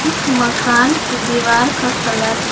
इस मकान के दीवार का कलर --